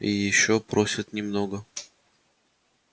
и ещё просят немного натурой